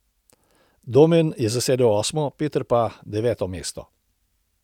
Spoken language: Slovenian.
Domen je zasedel osmo, Peter pa deveto mesto.